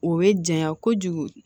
O bɛ janya kojugu